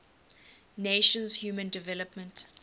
nations human development